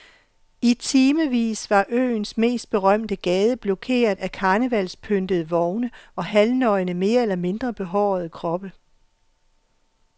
I timevis var øens mest berømte gade blokeret af karnevalspyntede vogne og halvnøgne mere eller mindre behårede kroppe.